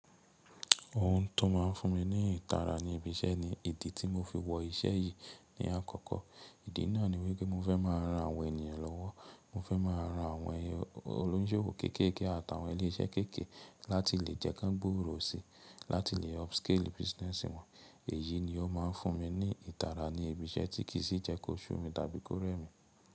Ohun tó máa ń fún mi ní ìtara ní ibi iṣẹ́ ni ìdí tí mo fi wọ iṣẹ́ yìí ní àkọ́kọ́. Ìdí náà ni wípé mo fẹ́ máa ran àwọn ènìyàn lọ́wọ́. Mo fẹ́ máa ran àwọn olóṣèlú kéékèèké àti awọn ilé iṣẹ́ kéékèèké láti lè jẹ́ kí wọ́n gbòòrò si, láti lè upscale business wọn. Èyí ni ó máa ń fún mi ní ìtara ní ibi iṣẹ́ tí kì í sí jẹ́ kó ṣú mi tàbí kó rẹ́ mi.